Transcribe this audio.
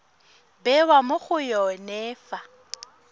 bewa mo go yone fa